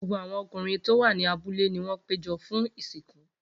Gbogbo awọn ọkunrin ti o wa ni abule ni wọn pejọ fun isinku.